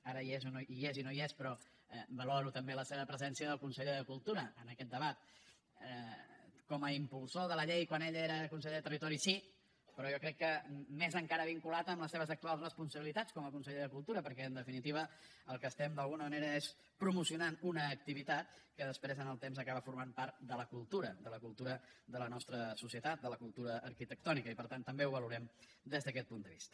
ara hi és i no hi és però valoro també la seva presència del conseller de cultura en aquest debat com a impulsor de la llei quan ell era conseller de territori sí però jo crec que més encara vinculat amb les seves actuals responsabilitats com a conseller de cultura perquè en definitiva el que estem d’alguna manera és promocionant una activitat que després amb el temps acaba formant part de la cultura de la cultura de la nostra societat de la cultura arquitectònica i per tant també ho valorem des d’aquest punt de vista